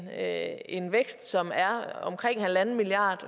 have en vækst som er omkring en milliard